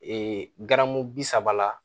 garamu bi saba la